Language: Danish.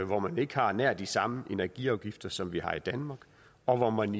hvor man ikke har nær de samme energiafgifter som vi har i danmark og hvor man